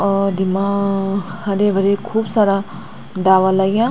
और ढिमा हरे-भरे खूब सारा डाला लग्यां।